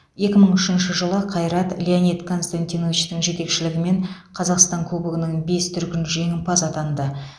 екі мың үшінші жылы қайрат леонид константиновичтің жетекшілігімен қазақстан кубогының бес дүркін жеңімпазы атанды